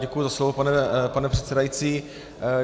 Děkuji za slovo, pane předsedající.